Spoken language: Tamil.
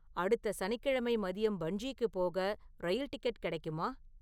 அடுத்த சனிக்கிழமை மதியம் பன்ஜிக்குப் போக ரயில் டிக்கெட் கிடைக்குமா